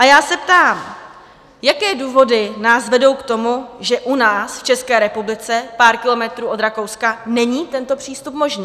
A já se ptám: Jaké důvody nás vedou k tomu, že u nás v České republice, pár kilometrů od Rakouska, není tento přístup možný?